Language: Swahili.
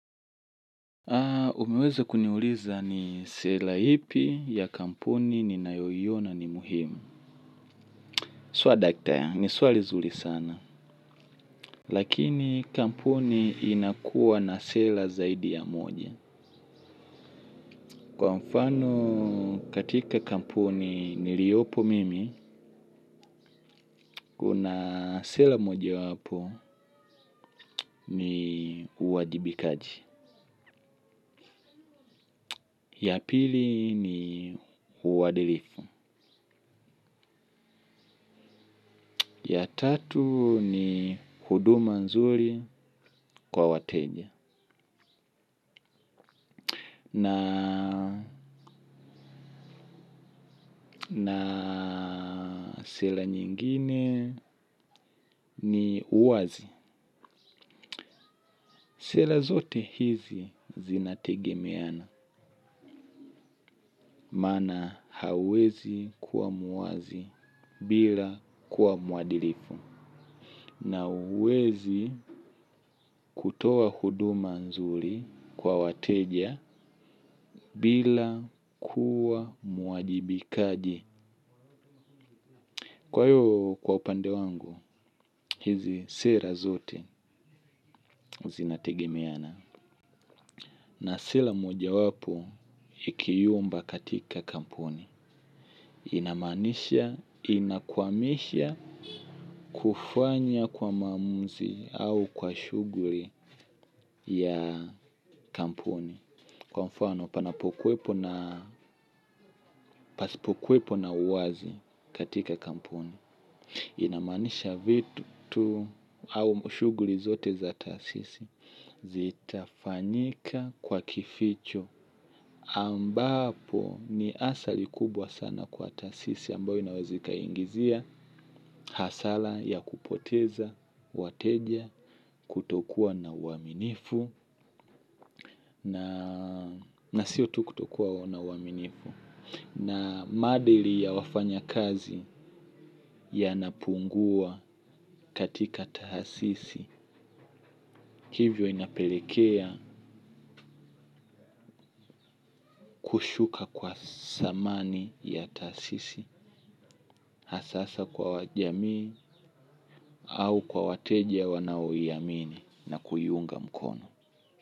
Umeweza kuniuliza ni sela ipi ya kampuni ninayo iona ni muhimu. Swadakta, ni swali zuri sana. Lakini kampuni inakua na sela zaidi ya moja. Kwa mfano katika kampuni niliyopo mimi, kuna sela moja wapo ni uwajibikaji. Ya pili ni uwadilifu. Ya tatu ni huduma nzuri kwa wateja. Na sela nyingine ni uwazi. Sela zote hizi zinategemeana. Maana hauwezi kuwa muwazi bila kuwa mwadilifu. Na huwezi kutoa huduma nzuri kwa wateja bila kuwa mwajibikaji. Kwa hiyo kwa upande wangu, hizi sera zote zinategemeana. Na sera moja wapo ikiyumba katika kampuni. Inamaanisha, inakwamisha kufanya kwa maamuzi au kwa shuguli ya kampuni. Kwa mfano, panapokuepo na pasipokuepo na uwazi katika kampuni. Inamanisha vitu au shuguli zote za taasisi. Zitafanyika kwa kificho ambapo ni athari kubwa sana kwa taasisi ambayo inaweza ikaingizia hasara ya kupoteza, wateja, kutokuwa na uaminifu na sio tu kutokuwa na uaminifu na maadili ya wafanyakazi yanapungua katika taasisi hivyo inapelekea kushuka kwa thamani ya taasisi. Hasaa kwa wajamii au kwa wateja wanaoiamini na kuiunga mkono.